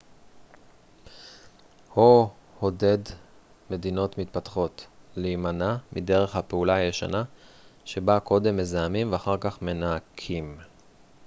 הו עודד מדינות מתפתחות להימנע מדרך הפעולה הישנה שבה קודם מזהמים ואחר כך מנקים